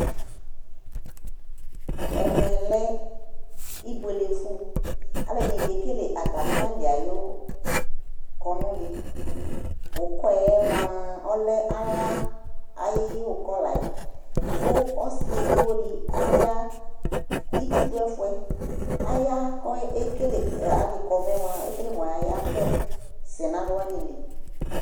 Ɛmɛ lɛ ibuele fʋ Alʋɛdɩnɩ kekele atamɩ alɩ yɛ ayʋ kɔnʋ dɩ Ʋkɔ yɛ mʋa, ɔlɛ ala ayʋ ʋkɔ la yɛ kʋ ɔsɩ edigbo dɩ aya itsu dʋ ɛfʋ yɛ Aya kʋ ekele alɩkɔnʋ yɛ mʋa, ekele mʋ ɔyayavɛ sɛ nʋ alʋ wanɩ li